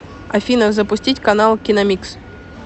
афина запустить канал киномикс